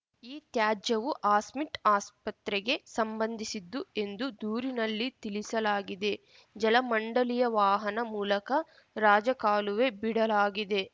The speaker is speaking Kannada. ಈ ತ್ಯಾಜ್ಯವು ಹಾಸ್ಮೆಟ್‌ ಆಸ್ಪತ್ರೆಗೆ ಸಂಬಂಧಿಸಿದ್ದು ಎಂದು ದೂರಿನಲ್ಲಿ ತಿಳಿಸಲಾಗಿದೆ ಜಲಮಂಡಳಿಯ ವಾಹನ ಮೂಲಕ ರಾಜಕಾಲುವೆ ಬಿಡಲಾಗಿದೆ